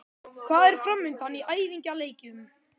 Hvað er framundan í æfingaleikjum?